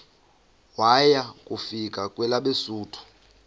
waya kufika kwelabesuthu